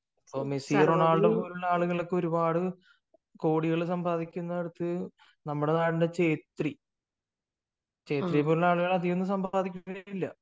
ഇപ്പൊ Messi Ronaldo പോലുള്ള ആളുകളൊക്കെ ഒരുപാട് നമ്മുടെ നാട്ടിൽ ഛേത്രി, ഛേത്രിയെപ്പോലുള്ള ആളുകൾ അധികമൊന്നും സമ്പാദിക്കുന്നില്ല.